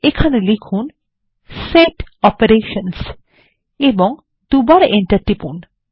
এবং লিখুন set operations এবং দুবার এন্টার টিপুন